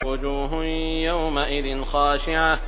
وُجُوهٌ يَوْمَئِذٍ خَاشِعَةٌ